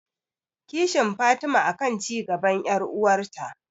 Kishin Fatima akan cigaban yar'uwarta